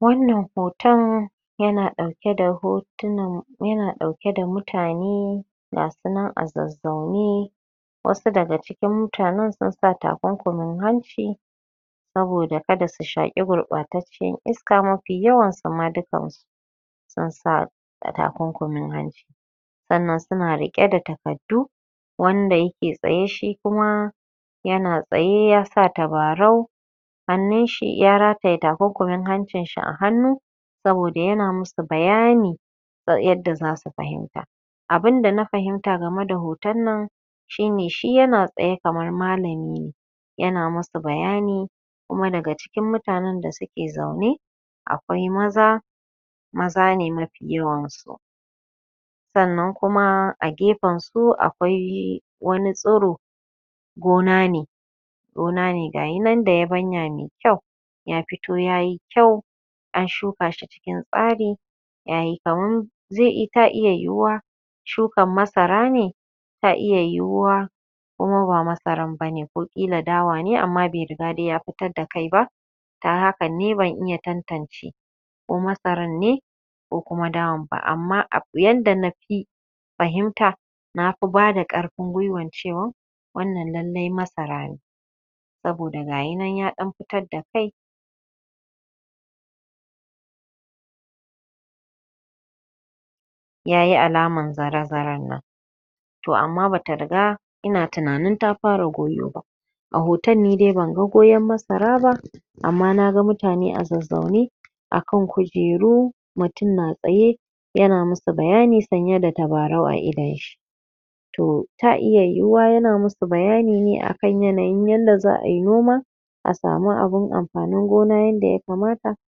wanna hoto yana ɗauke da mutane ga su nan a zazzaune wasu daga cikin mutanen sun saka takunkumin hanci saboda kada su shaƙi gurɓatacciyar iska mafi yawansu ma dukan su sun sa takunkumin hanci sannan suna riƙe da takardu wanda yake tsaye shi kuma ya na tsaye ya sa tabarau hannun shi ya rataye takunkumin hancin shi a hannu saboda ya na musu bayani ta yadda zasu fahimta abun da na fahimta game da hoton nan shi ne shi yana tsaye kamar malami ne ya na masa bayani kuma daga cikin mutanen da suke zaune akwai maza maza ne mafi yawan su sannan kuma a gefen su akwai wani tsiro gona ne ga yi nan da yabanya mai kyau ya fito yayi kyau an shuka shi cikin tsari??? ta iya yiwuwa shukan masara ne ta iya yiwuwa kuma ba masaran bane ko ƙila dawa ne amma bai riga ya fidda kai ba ta hakan ne ban iya tantance ko masaran ne ko kuma dawan ba amma yanda na fi fahimta na fi bada ƙarfin gwiwan cewan wannan lallai masara ne saboda ga yi nan ya fidda kai ya yi alman zare-zaren nan to amma ba ta riga ina tuna nin ta fara goyo ba a hotan ni dai ban ga goyon masara ba amma na ga mutane a zazzaune akan kujeru mutum na tsaye ya na musu bayani sanye da tabarau a idon shi to ta iya yiwuwa ya na musu bayani ne akan yanayin yanda za'a yi noma a samu abun amfanin gona yanda ya kamata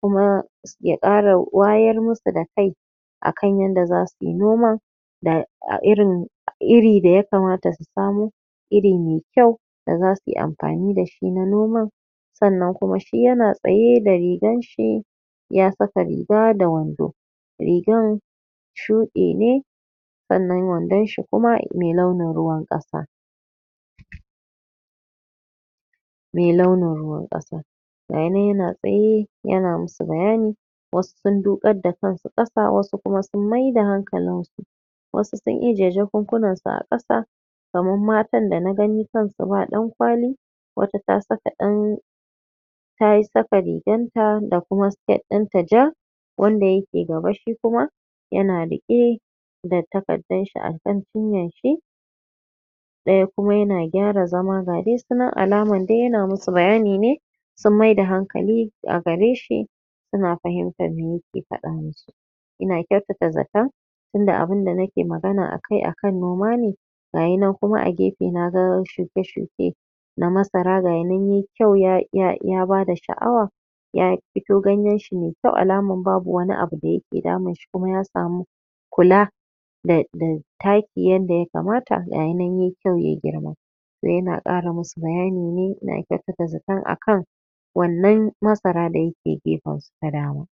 kuma ya ƙarawayar musu da kai akan yadda zasu yi noman??? iri da ya kamata su samo iri mai kyau da za su yi amfani da shi na noman sannan kuma shi ya na tsaye da rigan shi ya saka riga da wando rigan shuɗi ne sannan wandon shi kuma mai launin ruwan ƙasa mai launin ruwan ƙasa ga yi nan yana tsaye yana musu bayani wasu sun duƙar kan su ƙasa wasu kuma sun maida hankalin su wasu in ije jakunkunansu a ƙasa kaman matan da na gani kan su ba ɗankwali wata ta saka ɗan ta saka rigan ta da kuma siket ɗinta ja wanda yake gaba shi kuma ya na riƙe da takardanshi akan cinyarshi ɗaya kuma ya na gyara zama ga dai su nan alaman dai ya na musu bayani ne sun maida hankali a gare shi suna fahimtan mai yake faɗa musu ina kyautata zaton tunda abinda nake magana akan noma ne ga yi nan kuma a gefe na ga shuke-shuke na masara gayi nan yai kyau ya bada sha'awa ya fito ganyen shi mai kyau alaman babu wani abu da yake damun shi kuma ya samu kula??? taki wanda ya kamata gayi nan yai kyau yayi girma ya na ƙara musu bayani ne ina kyautata zaton akan wannan masara da ya ke gefen su ta dama